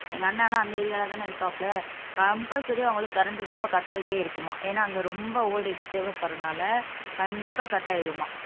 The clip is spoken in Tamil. எங்க அண்ணன் எல்லாம் அந்த ஏரியாலதானே இருக்காப்ல காம்பல்சரி அவங்களுக்கு கரண்ட் ரொம்ப கட் ஆயிட்டே இருக்குமா ஏன்னா அங்க ரொம்ப வோல்ட்டேஜ் தேவைப்படுறனால கண்டிப்பா கட் ஆயிடுமாம்